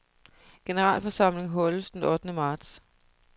Generalforsamling holdes den ottende marts.